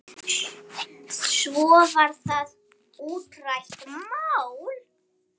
Svo var það útrætt mál.